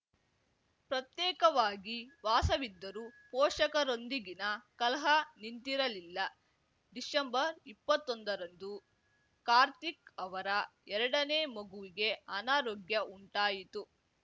ಪ್ರತ್ಯೇಕವಾಗಿ ವಾಸವಿದ್ದರೂ ಪೋಷಕರೊಂದಿಗಿನ ಕಲಹ ನಿಂತಿರಲಿಲ್ಲ ಡಿಸೆಂಬರ್ಇಪ್ಪತ್ತೊಂದರಂದು ಕಾರ್ತಿಕ್‌ ಅವರ ಎರಡನೇ ಮಗುವಿಗೆ ಅನಾರೋಗ್ಯ ಉಂಟಾಗಿತ್ತು